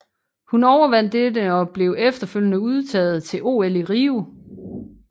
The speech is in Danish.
Hun overvandt dette og blev efterfølgende udtaget til OL i Rio